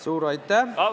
Suur aitäh!